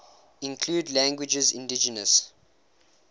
include languages indigenous